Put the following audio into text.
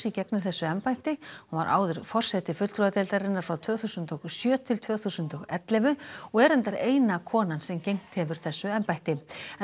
gegnir þessu embætti hún var áður forseti fulltrúadeildarinnar frá tvö þúsund og sjö til tvö þúsund og ellefu og er reyndar eina konan sem gegnt hefur þessu embætti